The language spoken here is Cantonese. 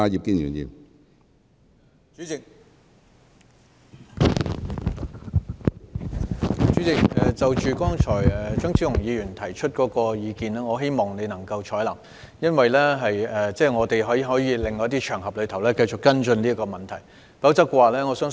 主席，張超雄議員剛才提出的意見，我希望你能夠採納，我們可在另一些場合繼續跟進這個問題。